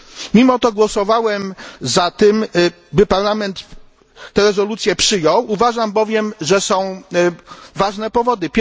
Mimo to głosowałem za tym, by Parlament tę rezolucję przyjął. Uważam bowiem, że są ku temu ważne powody.